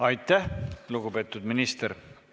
Aitäh, lugupeetud minister!